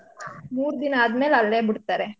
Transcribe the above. ಮೂರ್ದಿನ ಆದ್ಮೇಲೆ ಅಲ್ಲೇ ಬಿಡ್ತಾರೆ.